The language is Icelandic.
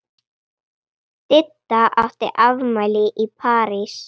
Didda átti afmæli í París.